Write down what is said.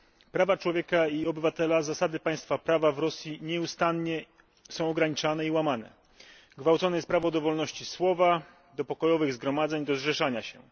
Prawa człowieka i prawa obywatelskie oraz zasady państwa prawa w Rosji są nieustannie ograniczane i łamane. Gwałcone jest prawo do wolności słowa, do pokojowych zgromadzeń, do zrzeszania się.